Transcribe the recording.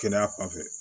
Kɛnɛya fanfɛ